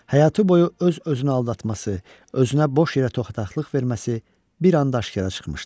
Həyatı boyu öz-özünü aldatması, özünə boş yerə toxdaqlıq verməsi bir an daşkara çıxmışdı.